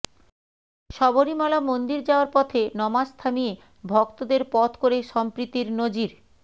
শবরীমালা মন্দির যাওয়ার পথে নমাজ থামিয়ে ভক্তদের পথ করে সম্প্রীতির নজির